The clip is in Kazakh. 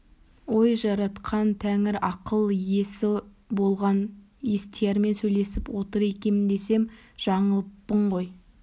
ой жаратқан тәңір ақыл иесі болған естиярмен сөйлесіп отыр екем десем жаңылыппын ғой